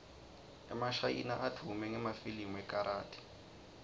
emashayina advume ngemafilimu ekarathi